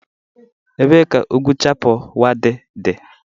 Ebee ka ugwu Chappal Waddi dị?